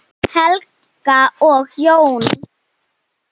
Helga og Jón.